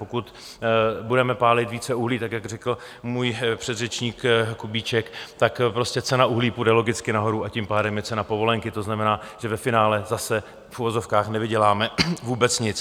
Pokud budeme pálit více uhlí, tak jak řekl můj předřečník Kubíček, tak prostě cena uhlí půjde logicky nahoru, a tím pádem i cena povolenky, to znamená, že ve finále zase v uvozovkách nevyděláme vůbec nic.